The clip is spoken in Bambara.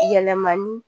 Yɛlɛmani